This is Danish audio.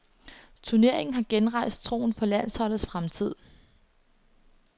Turneringen har genrejst troen på landsholdets fremtid.